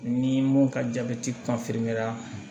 Ni mun ka jabɛti ra